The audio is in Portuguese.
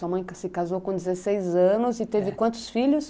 Sua mãe se casou com dezesseis anos eh e teve quantos filhos?